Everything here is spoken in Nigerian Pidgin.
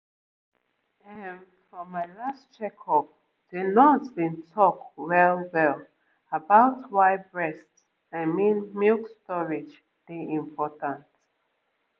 ehm for my last checkup the nurse been talk well-well about why breast i mean milk storage dey important